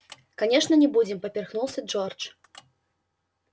конечно не будем поперхнулся джордж